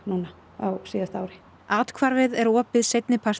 á síðasta ári athvarfið er opið seinni partinn